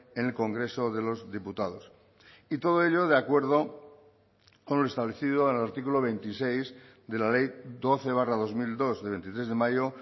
en el congreso de los diputados y todo ello de acuerdo con lo establecido en el artículo veintiséis de la ley doce barra dos mil dos de veintitrés de mayo